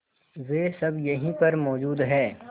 वे सब यहीं पर मौजूद है